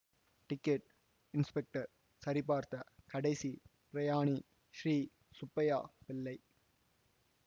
ticket inspector சரிபார்த்த கடைசிப் பிரயாணி ஸ்ரீ சுப்பையா பிள்ளை